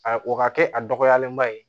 A o ka kɛ a dɔgɔyalenba ye